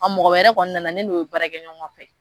A mɔgɔ wɛrɛ kɔni nana ne n'o ye baarakɛ ɲɔgɔn fɛ.